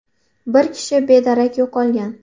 Bir kishi bedarak yo‘qolgan.